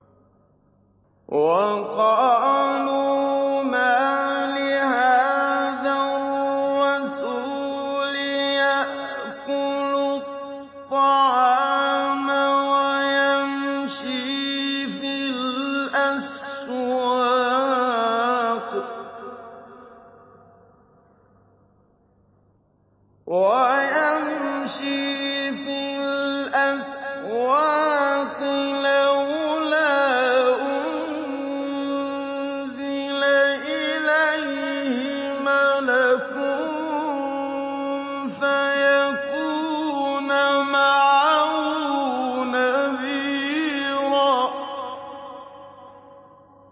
وَقَالُوا مَالِ هَٰذَا الرَّسُولِ يَأْكُلُ الطَّعَامَ وَيَمْشِي فِي الْأَسْوَاقِ ۙ لَوْلَا أُنزِلَ إِلَيْهِ مَلَكٌ فَيَكُونَ مَعَهُ نَذِيرًا